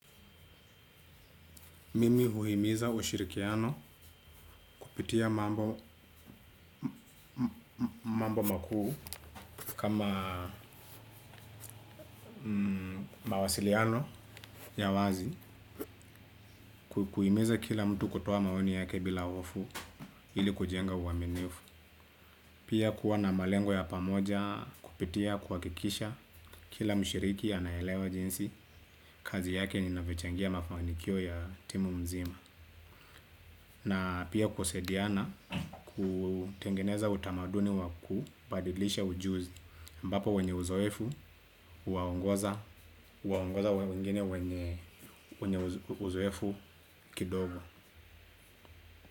Mimi uhimiza ushirikiano kupitia mambo mambo makuu kama mawasiliano ya wazi kuhimiza kila mtu kutoa maoni yake bila hofu ili kujenga uaminifu pia kuwa na malengo ya pamoja kupitia kuhakikisha kila mshiriki anaelewa jinsi kazi yake inavyo changia mafanikio ya timu mzima na pia kusaidiana kutengeneza utamaduni waku badilisha ujuzi ambapo wenye uzoefu, uwaongoza wengine wenye uzoefu kidogo.